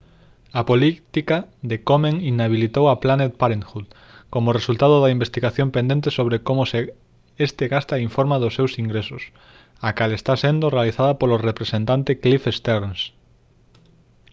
a política de komen inhabilitou a planned parenthood como resultado da investigación pendente sobre como este gasta e informa dos seus ingresos a cal está sendo realizada polo representante cliff stearns